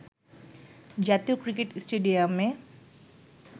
জাতীয় ক্রিকেট স্টেডিয়ামে